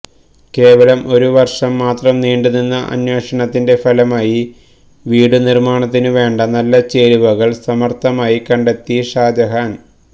കേവലം ഒരു വര്ഷം മാത്രം നീണ്ടു നിന്ന അന്വേഷണത്തിന്റെ ഫലമായി വീടു നിര്മാണത്തിനുവേണ്ട നല്ല ചേരുവകള് സമര്ഥമായി കണ്ടത്തെി ഷാജഹാന്